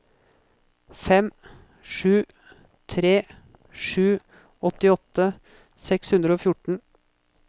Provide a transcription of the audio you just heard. fem sju tre sju åttiåtte seks hundre og fjorten